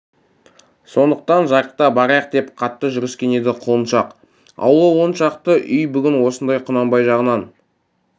сондықтан жарықта барайық деп қатты жүріскен еді құлыншақ аулы он шақты үй бүгін осындай құнанбай жағынан